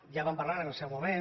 ja en vam parlar en el seu moment